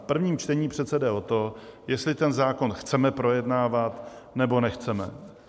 V prvním čtení přece jde o to, jestli ten zákon chceme projednávat, nebo nechceme.